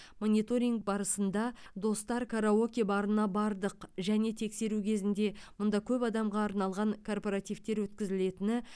мониторинг барысында достар караоке барына бардық және тексеру кезінде мұнда көп адамға арналған корпоративтер өткізілетіні